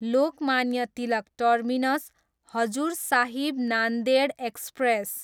Lokmanya Tilak terminus, Hazur Sahib Nanded express